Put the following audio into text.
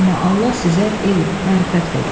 Amma Allah sizə elm, mərifət verib.